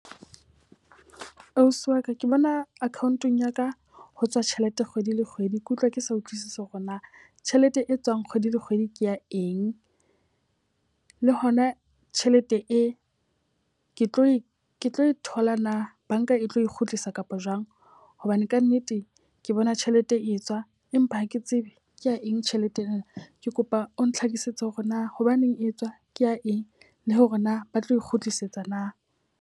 Ausi wa ka ke bona account-eng ya ka ho tswa tjhelete kgwedi le kgwedi. Ke utlwa ke sa utlwisisi hore na tjhelete e tswang kgwedi le kgwedi ke ya eng, le hona tjhelete e ke tlo e tla e thola na banka e tlo kgutlisa kapa jwang? Hobane ka nnete ke bona tjhelete e etswa empa ha ke tsebe ke ya eng tjhelete ena. Ke kopa o nhlakisetse hore na hobaneng e etswa ke ya eng le hore na ba tlo e kgutlisetsa na?